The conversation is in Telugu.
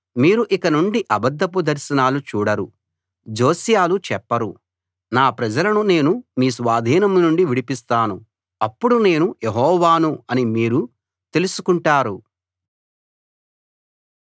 కాబట్టి మీరు ఇకనుండి అబద్ధపు దర్శనాలు చూడరు జోస్యాలూ చెప్పరు నా ప్రజలను నేను మీ స్వాధీనం నుండి విడిపిస్తాను అప్పుడు నేను యెహోవాను అని మీరు తెలుసుకుంటారు